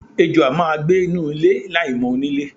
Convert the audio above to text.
Ejò a máa gbenu ilé láìmò̩ onílé.